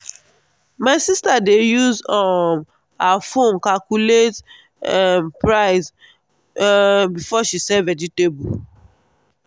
my sister dey use um her phone calculate um price um before she sell vegetable.